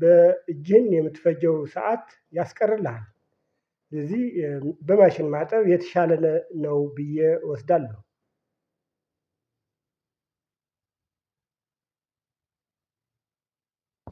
በእጄን የምትፈጀው ሰዓት ያስቀርልሃል። ስለዚህ በማሽን ማጠብ የተሻለ ነው ብዬ እወስዳለሁ።